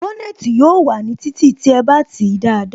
Bónètī yóò wà ní títì tí ẹ bá tìí dáadáa